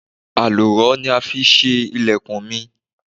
Àlùrọ ni a fi ṣe ilẹ̀kùn mi.